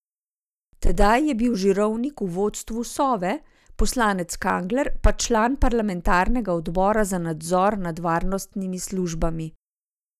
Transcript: Tedaj je bil Žirovnik v vodstvu Sove, poslanec Kangler pa član parlamentarnega odbora za nadzor nad varnostnimi službami.